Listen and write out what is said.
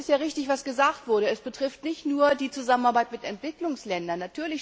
Es ist richtig, was gesagt wurde Es betrifft nicht nur die Zusammenarbeit mit Entwicklungsländern.